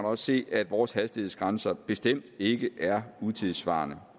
også se at vores hastighedsgrænser bestemt ikke er utidssvarende